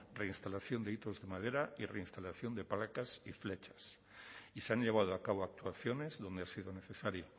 reinstalación de hitos de madera y reinstalación de placas y flechas y se han llevado a cabo actuaciones donde ha sido necesario